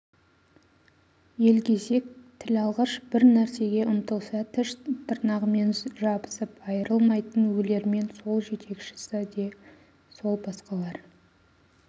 елгезек тілалғыш бір нәрсеге ұмтылса тіс тырнағымен жабысып айырылмайтын өлермен сол жетекшісі де сол басқалар